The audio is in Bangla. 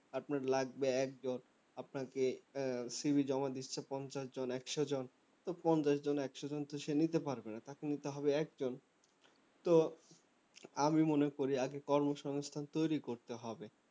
আপনার লাগবে এক জন আহ আপনাকে CV জমা দিচ্ছে পঞ্চাশ জন একশো জন তো পঞ্চাশ জন একশো জন কি সে নিতে পারবে তাকে নিতে হবে এক জন তো আমি মনে করি আগে কর্মসংস্থান তৈরী করতে হবে